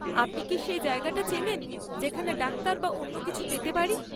আপনি কি সেই জায়গাটা চেনেন যেখানে ডাক্তার বা অন্য কিছু পেতে পারি?